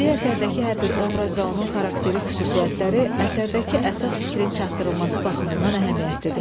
Bədii əsərdəki hər bir obraz və onun xarakteri xüsusiyyətləri əsərdəki əsas fikrin çatdırılması baxımından əhəmiyyətlidir.